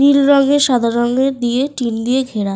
নীল রঙের সাদা রঙের দিয়ে টিন দিয়ে ঘেরা।